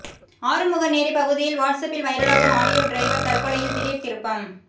ஆறுமுகநேரி பகுதியில் வாட்ஸ் அப்பில் வைரலாகும் ஆடியோ டிரைவர் தற்கொலையில் திடீர் திருப்பம்